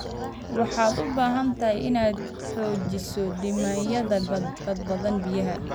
Waxaad u baahan tahay inaad xoojiso nidaamyada badbaadada biyaha.